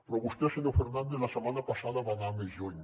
però vostè senyor fernández la setmana passada va anar més lluny